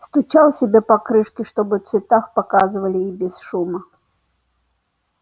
стучал себе по крышке чтобы в цветах показывали и без шума